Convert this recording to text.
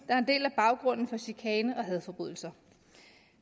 er en del af baggrunden for chikane og hadforbrydelser